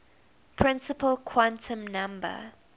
principal quantum number